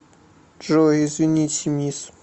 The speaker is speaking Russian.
джой извините мисс